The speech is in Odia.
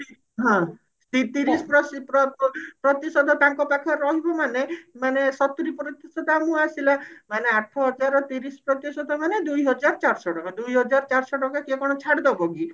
ହଁ ତି ତିରିଶ ପ୍ରଶି ପ୍ର ପ୍ରତିଶତ ତାଙ୍କ ପାଖରେ ରହିବ ମାନେ ମାନେ ସତୁରୀ ପ୍ରତିଶତ ଆମକୁ ଆସିଲା ମାନେ ଆଠହଜାର ର ତିରିଶି ପ୍ରତିଶତ ମାନେ ଦୁଇହାଜର ଚାରିଶହ ଟଙ୍କା ଦୁଇହାଜର ଚାରିଶହ ଟଙ୍କା କିଏ କଣ ଛାଡି ଦେବ କି